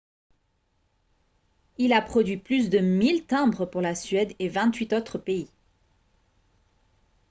il a produit plus de 1000 timbres pour la suède et 28 autres pays